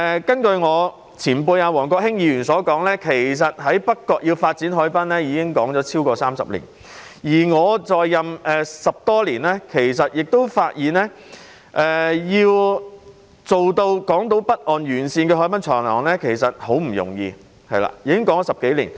根據我的前輩王國興前議員所說，發展北角海濱之事已討論了超過30年，而我在任10多年，亦發現要在港島北岸沿線發展海濱長廊，其實十分不容易，已討論了10多年。